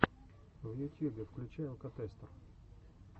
в ютьюбе включай алкотестер